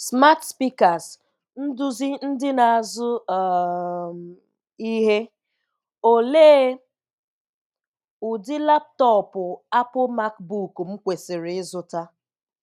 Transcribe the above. Smart Speakers – Nduzi Ndị na-azụ um Ihe: Òlee ụdị laptọọpụ Apple MacBook m kwesịrị ịzụta?